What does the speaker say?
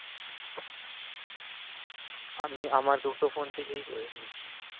আমি আমার দুটো phone থেকে করে নিয়েছি